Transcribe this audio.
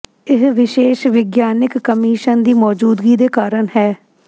ਇਹ ਵਿਸ਼ੇਸ਼ ਵਿਗਿਆਨਕ ਕਮਿਸ਼ਨ ਦੀ ਮੌਜੂਦਗੀ ਦੇ ਕਾਰਨ ਹੈ